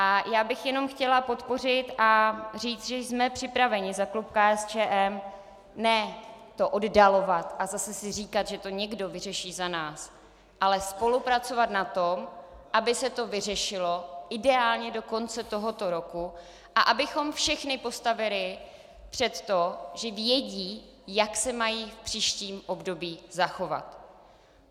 A já bych jenom chtěla podpořit a říct, že jsme připraveni za klub KSČM ne to oddalovat a zase si říkat, že to někdo vyřeší za nás, ale spolupracovat na tom, aby se to vyřešilo ideálně do konce tohoto roku a abychom všechny postavili před to, že vědí, jak se mají v příštím období zachovat.